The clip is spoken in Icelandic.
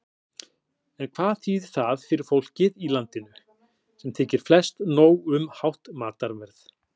En hvað þýðir það fyrir fólkið í landinu, sem þykir flestu nóg um hátt matarverð?